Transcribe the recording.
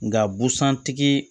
Nga busan tigi